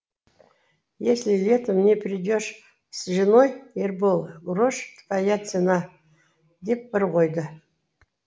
если летом не придешь с женой ербол грош твоя цена деп бір қойды